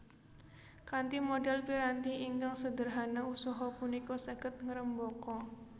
Kanthi modal piranti ingkang sederhana usaha punika saged ngrembaka